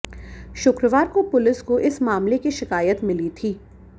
शुक्रवार को पुलिस को इस मामले की शिकायत मिली थी